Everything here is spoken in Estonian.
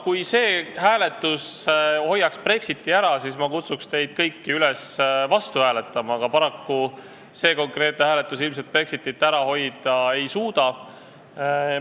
Kui see hääletus hoiaks Brexiti ära, siis ma kutsuks teid kõiki üles vastu hääletama, aga paraku see konkreetne hääletus ilmselt Brexitit ära hoida ei suuda.